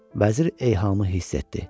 Vəzir eyhamı hiss etdi.